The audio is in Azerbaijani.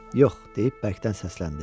Yox, deyib bərkdən səsləndi.